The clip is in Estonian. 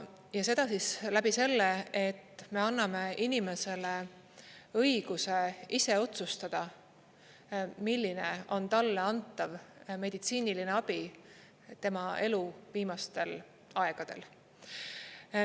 Ja seda siis läbi selle, et me anname inimesele õiguse ise otsustada, milline on talle antav meditsiiniline abi tema elu viimastel aegadel.